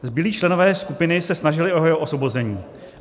Zbylí členové skupiny se snažili o jeho osvobození.